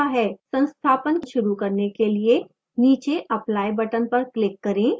संस्थापन शुरू करने के लिए नीचे apply button पर click करें